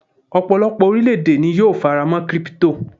ọpọlọpọ orilẹ ède ni yíò farama' crypto